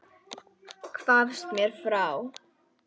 Hvarfst mér frá.